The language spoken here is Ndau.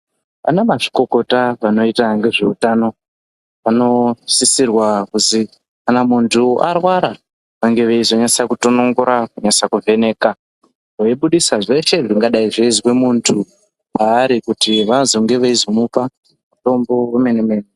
Ana mazvikokota vanoita ngezveutano anosisirwa kuzi kana muntu arwara vange veizonyatse kutonongora kunyatse kuvheneka. Veibudisa zveshe zvingadai zveizwa muntu paari Kuti vazenge veizomupa mutombo vemene-mene.